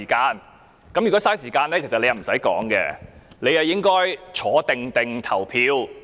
如果是浪費時間，其實他不用發言，應該安坐投票。